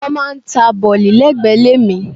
Wọ́n máà ń ta bọ̀lì lẹ́gbẹ̀ẹ́ ilé mi.